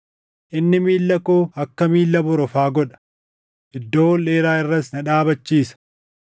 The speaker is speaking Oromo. Inni miilla koo akka miilla borofaa godha; iddoo ol dheeraa irras na dhaabachiisa.